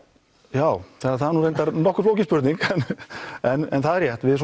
já það er nokkuð flókin spurning en það er rétt við